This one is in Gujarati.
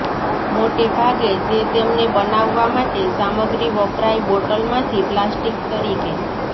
મોટે ભાગે તે તેમને બનાવવા માટે સામગ્રી વપરાય બોટલ માંથી પ્લાસ્ટિક તરીકે